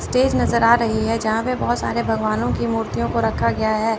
Stage नजर आ रही है जहां पे बहोत सारे भगवानो की मूर्तियों को रखा गया है।